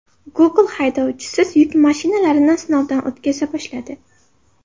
Google haydovchisiz yuk mashinalarini sinovdan o‘tkaza boshladi.